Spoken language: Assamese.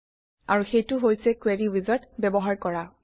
আৰু সেইটো হৈছে কোৰী উইজাৰ্ড ব্যৱহাৰ কৰা